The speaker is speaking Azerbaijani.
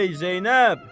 Ey, Zeynəb!